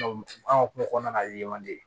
an ka kuma kɔnɔna len man di